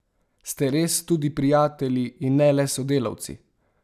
Ste res tudi prijatelji in ne le sodelavci?